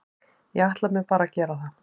Ég ætla mér bara að gera það.